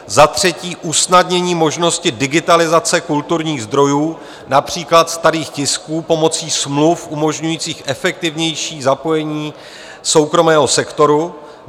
Za třetí, usnadnění možnosti digitalizace kulturních zdrojů, například starých tisků, pomocí smluv umožňujících efektivnější zapojení soukromého sektoru.